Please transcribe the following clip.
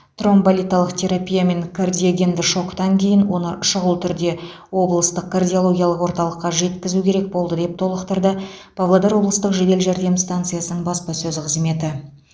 тромболитикалық терапия мен кардиогенді шоктан кейін оны шұғыл түрде облыстық кардиологиялық орталыққа жеткізу керек болды деп толықтырды павлодар облыстық жедел жәрдем станциясының баспасөз қызметі